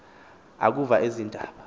akuva ezi ndaba